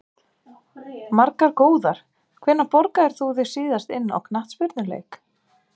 Margar góðar Hvenær borgaðir þú þig síðast inn á knattspyrnuleik?